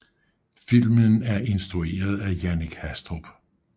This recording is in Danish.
Filmen er instrueret af Jannik Hastrup